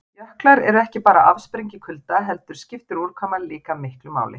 Jöklar eru ekki bara afsprengi kulda heldur skiptir úrkoma líka miklu máli.